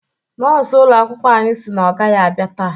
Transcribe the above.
Nọọsụ ụlọ akwụkwọ anyị sị na ọ gaghị abịa taa